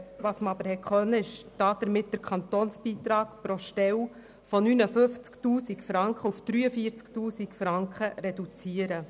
Damit kann der Kantonsbeitrag pro Stelle von 59 000 auf 43 000 Franken reduziert werden.